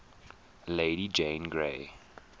lady jane grey